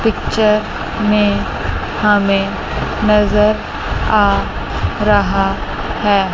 Picture में हमे नजर आ रहा है।